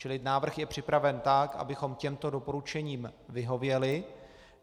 Čili návrh je připraven tak, abychom těmto doporučením vyhověli.